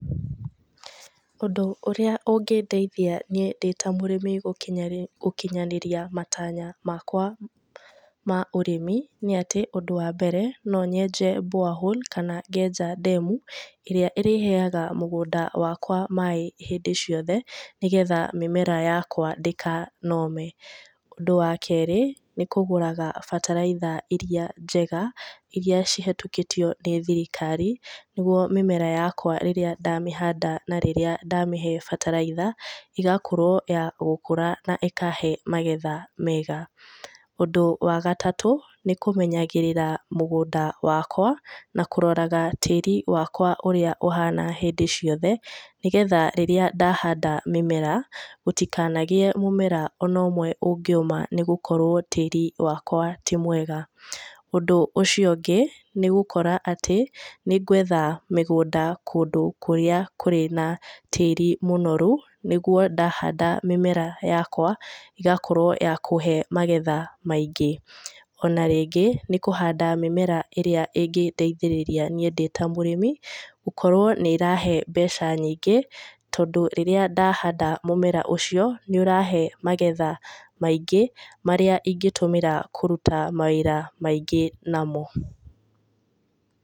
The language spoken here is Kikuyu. Ũndũ ũrĩa ũngĩndeithĩa niĩ ndĩ ta mũrĩmi gũkinyaniria matanya makwa ma ũrĩmi nĩ atĩ, ũndu wa mbere no nyenje borehole kana ngenja ndemu ĩrĩa ĩrĩheaga mũgũnda wakwa maĩ hĩndĩ ciothe nĩgetha mĩmera yakwa ndĩkanome. Ũndũ wa kerĩ nĩ kũgũraga bataraitha iria njega, na iria cihetũkĩtio nĩ thirikari nĩgũo mĩmera yakwa rĩrĩa ndamĩhanda na rĩrĩa ndamĩhe bataraitha ĩgakorwo ya gũkũra na ĩkahe magetha mega. Ũndũ wa gatatũ nĩ kũmenyagĩrira mũgũnda wakwa na kũroraga tĩri wakwa ũria ũhana hĩndĩ ciothe nĩgetha rĩrĩa ndahanda mĩmera gũtikanagĩe mũmera ona ũmwe ũngĩũma nĩ gũkorwo tĩĩri wakwa tĩ mwega. Ũndũ ũcio ũngĩ, nĩ gũkora atĩ, nĩ ngwetha mĩgũnda kũndũ kũrĩa kũrĩ na tĩĩri mũnorũ nĩgũo ndahanda mĩmera yakwa ĩgakorwo ya kũhe magetha maĩngĩ. Ona ringĩ nĩ kũhanda mimera ĩrĩa ĩngĩndeithĩrĩria niĩ ndĩ ta mũrĩmi gukorwo nĩ ĩrahe mbeca nyĩngĩ tondũ rĩrĩa ndahanda mumera ũcio nĩ ũrahe magetha maĩngi marĩa ingĩtũmĩra kũrũta mawĩra maingĩ namo.